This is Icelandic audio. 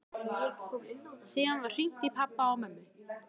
Síðan var hringt í pabba og mömmu.